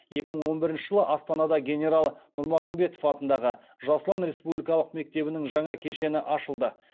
екі мың он бірінші жылы астанада генерал нұрмағамбетов атындағы жас ұлан республикалық мектебінің жаңа кешені ашылды